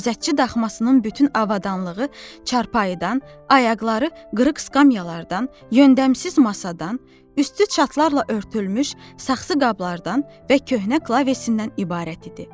Gözətçi daxmasının bütün avadanlığı çarpayıdan, ayaqları qırıq skamyalardan, yöndəmsiz masadan, üstü çatlarla örtülmüş saxsı qablardan və köhnə klavesindən ibarət idi.